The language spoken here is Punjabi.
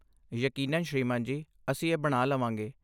ਯਕੀਨਨ ਸ੍ਰੀਮਾਨ ਜੀ, ਅਸੀਂ ਇਹ ਬਣਾ ਲਵਾਂਗੇ।